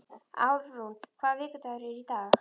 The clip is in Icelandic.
Álfrún, hvaða vikudagur er í dag?